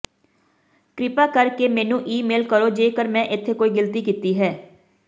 ਕਿਰਪਾ ਕਰਕੇ ਮੈਨੂੰ ਈਮੇਲ ਕਰੋ ਜੇਕਰ ਮੈਂ ਇੱਥੇ ਕੋਈ ਗਲਤੀ ਕੀਤੀ ਹੈ